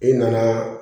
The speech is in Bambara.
I nana